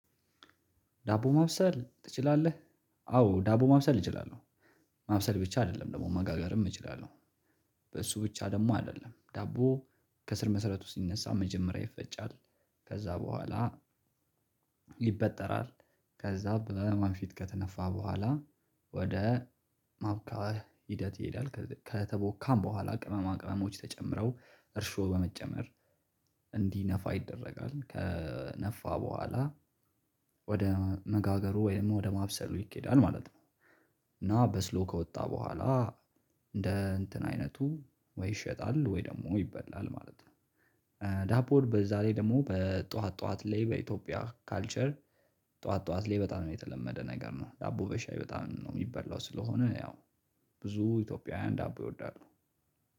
ዳቦ ማብሰል ትችላለህ? አዎ ዳቦ ማብሰል እችላለሁ። ማብሰል ብቻ አይደለም ደግሞ መጋገርም እችላለሁ። በእሱ ብቻ ደግሞ አይደለም ዳቦ ከስር መሰረቱ ሲነሳ መጀመሪያ ይፈጫል። ከዛ በኋላ ይበጠራል። ከዛ በወንፊት ከተነፋ በኋላ ወደ ማቡካት ሂደት ይሄዳል ከተቦካም በኋላ ቅመማ ቅመሞች ተጨምረው እርሾ በመጨመር እንዲነፋ ይደረጋል ከነፋ በኋላ ወደ መጋገሩ ወይም ወደ ማብሰሉ ይኬዳል ማለት ነው። እና በስሎ ከወጣ በኋላ እንደ እንትን አይነቱ ወይ ይሸጣል ወይ ደግሞ ይበላል ማለት ነው። ዳቦን በዛ ላይ ደግሞ በጧት ጧት ላይ በኢትዮጵያ ካልቸር ጧት ጧት ላይ በጣም የተለመደ ነገር ነው። ዳቦ በሻይ በጣም ነው የሚበላው ስለሆነ ያው ብዙ ኢትዮጵያውያን ዳቦ ይወዳሉ።